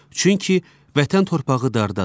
Çünki Vətən torpağı dardadır.